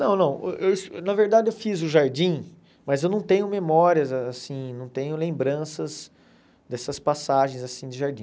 Não não eu es, na verdade eu fiz o Jardim, mas eu não tenho memórias assim, não tenho lembranças dessas passagens assim de Jardim.